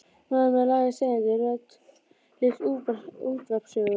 Maður með lága seiðandi rödd les útvarpssögu.